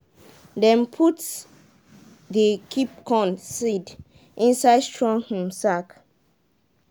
dem put dey keep corn seed inside strong um sack